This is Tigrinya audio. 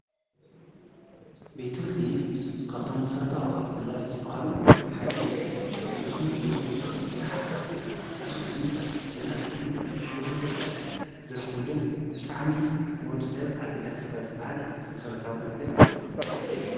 ቤት ምህርቲ ካብቶም መሠረታ ውሃብቲ ግልጓል ዝበሃሉ ሓደ እዩ ቤት ምህርቲ ዙኃት ፃናትን ምንኣሰይን ብዙኅ ፍጠት ዝረዂልን ብጥዓሚ ንወድ ሰብ ኣግዳስካ ዝበሃል መሠረታ ጐልግለት ሓደይ እዩ።